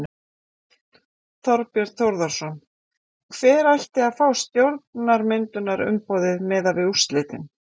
Þorbjörn Þórðarson: Hver ætti að fá stjórnarmyndunarumboðið miðað við úrslitin?